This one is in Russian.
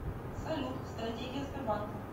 салют стратегия сбербанка